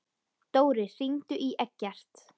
Dóri, hringdu í Eggert.